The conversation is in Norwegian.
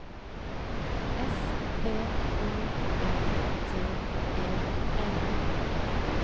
S P O R T E N